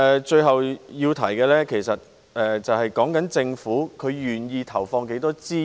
最後要提的是，政府願意投放多少資源。